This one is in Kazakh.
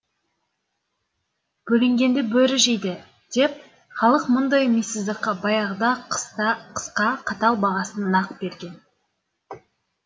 бөлінгенді бөрі жейді деп халық мұндай мисыздыққа баяғыда ақ қысқа қатал бағасын нақ берген